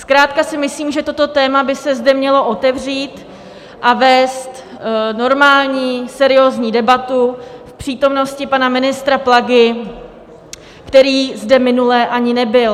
Zkrátka si myslím, že toto téma by se zde mělo otevřít a vést normální, seriózní debatu v přítomnosti pana ministra Plagy, který zde minule ani nebyl.